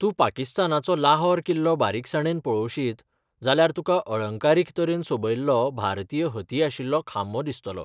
तूं पाकिस्तानाचो लाहोर किल्लो बारीकसाणेन पळोवशीत, जाल्यार तुका अळंकारीक तरेन सोबयल्लो भारतीय हती आशिल्लो खांबो दिसतलो.